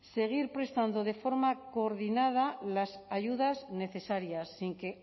seguir prestando de forma coordinada las ayudas necesarias sin que